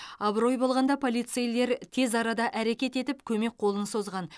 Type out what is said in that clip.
абырой болғанда полицейлер тез арада әрекет етіп көмек қолын созған